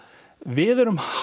við erum